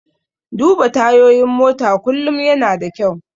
Duba tayoyin mota kullum yana da kyau.